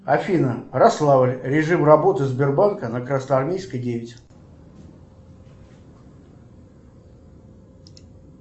афина ярославль режим работы сбербанка на красноармейской девять